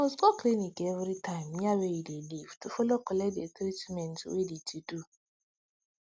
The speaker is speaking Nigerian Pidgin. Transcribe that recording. you must go clinic every time near wey you de live to follow collect de treatment wey de to do